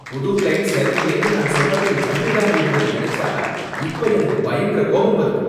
புது க்ளையண்ட் சரியில்லைனு நான் சொன்னப்ப நீ கண்டுக்காம இருந்தத நினைச்சா இப்ப எனக்கு பயங்கரக் கோபம் வருது.